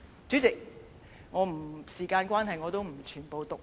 主席，時間關係，我不會全部讀出內容。